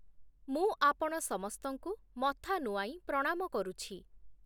ମୁଁ ଆପଣ ସମସ୍ତଙ୍କୁ ମଥା ନୁଆଇ ପ୍ରଣାମ କରୁଛି ।